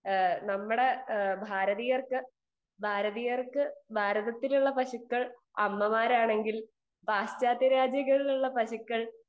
speaker 2 നമ്മളെ ഭാരതീയർക്ക് ഭാരതത്തിലെ പശുക്കൾ അമ്മമാരാണെങ്കിൽ പാശ്ചാത്യ രാജ്യങ്ങളിലുള്ള പശുക്കൾ